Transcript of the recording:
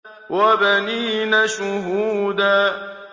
وَبَنِينَ شُهُودًا